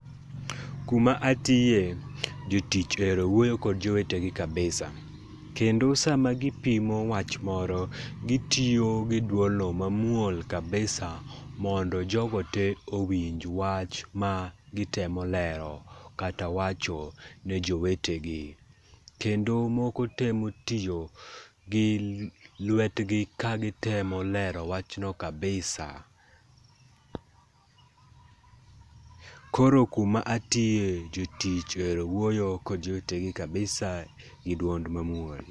Kuma atiye, jotich ohero wuoyo kod jowetegi kabisa. kendo sama gipimo wach moro gitiyo gi dwolno mamuol kabisa mondo jogo tee owinj wach magitemo lero kata wacho ne jowetegi. Kendo moko temo tiyo gi lwetgi kagitemo lero wachno kabisa. Koro kuma atiye, jotich ohero wuoyo kod jowetegi kabisa gi dwol mamuol.